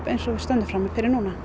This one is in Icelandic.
eins og við stöndum frammi fyrir núna